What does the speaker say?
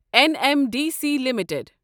N M D C limited